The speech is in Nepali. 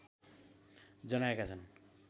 जनाएका छन्